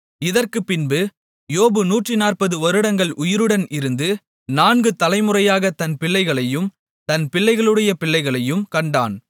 இதற்குப்பின்பு யோபு நூற்று நாற்பது வருடங்கள் உயிருடன் இருந்து நான்கு தலைமுறையாகத் தன் பிள்ளைகளையும் தன் பிள்ளைகளுடைய பிள்ளைகளையும் கண்டான்